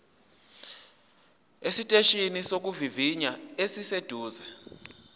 esiteshini sokuvivinya esiseduze